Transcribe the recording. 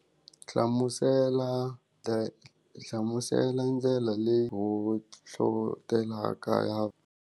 Hlamusela ta hlamusela ndlela leyi hohlotelaka ya.